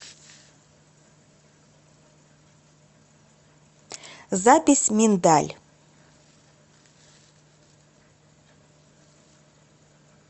запись миндаль